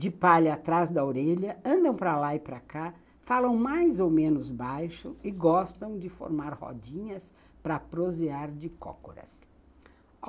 de palha atrás da orelha, andam para lá e para cá, falam mais ou menos baixo e gostam de formar rodinhas para prosear de cócoras.